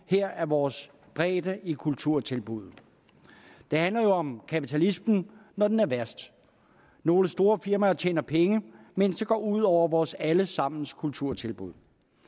af vores bredde i kulturtilbuddet det handler jo om kapitalismen når den er værst nogle store firmaer tjener penge mens det går ud over vores alle sammens kulturtilbud